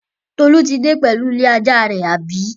Tolu tí dé pẹ̀lú ilé-ajá rẹ̀, àbí?